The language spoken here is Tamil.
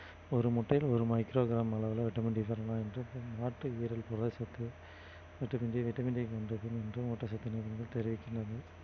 ஒரு முட்டையில ஒரு micro gram அளவுல vitamin D என்று புரத சத்து vitamin D vitamin D என்றும் ஊட்டச்சத்து தெரிவிக்கின்றது